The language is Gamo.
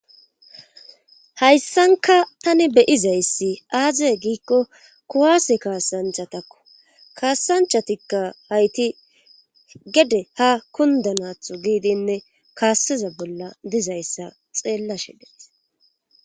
Hayssanka tani beyizayssi aaziye giikko kuwaase kaasanthatakko kaassanchatikka hayti gede ha kundanaatho giidinne kaaseza bolla dizayssa xeellashe dees